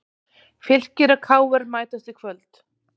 Fylkir og KR mætast í kvöld